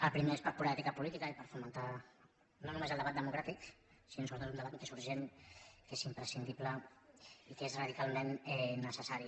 el primer és per pura ètica política i per fomentar no només el debat democràtic sinó sobretot un debat que és urgent que és imprescindible i que és radicalment necessari